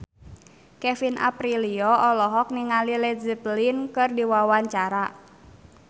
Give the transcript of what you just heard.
Kevin Aprilio olohok ningali Led Zeppelin keur diwawancara